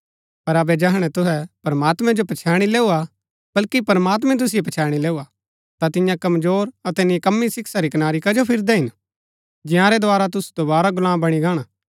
पर अबै जैहणै तुहै प्रमात्मैं जो पछैणी लैऊआ बल्कि प्रमात्मैं तुसिओ पछैणी लैऊआ ता तियां कमजोर अतै निकम्मी शिक्षा री कनारी कजो फिरदै हिन जंयारै द्धारा तुसु दोवारा गुलाम बणी गाणा